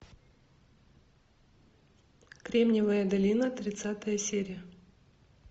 кремниевая долина тридцатая серия